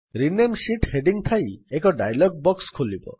rename sheet heading ଥାଇ ଏକ dialog box ଖୋଲିବ